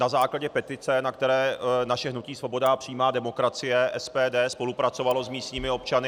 Na základě petice, na které naše hnutí Svoboda a přímá demokracie, SPD, spolupracovalo s místními občany...